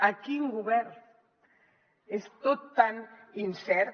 a quin govern és tot tan incert